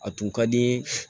A tun ka di n ye